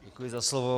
Děkuji za slovo.